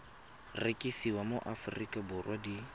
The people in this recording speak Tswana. rekisiwa mo aforika borwa di